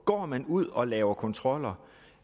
går man ud og laver kontroller